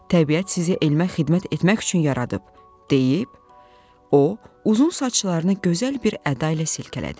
"Təbiət sizi elmə xidmət etmək üçün yaradıb," deyib o, uzun saçlarını gözəl bir əda ilə silkələdi.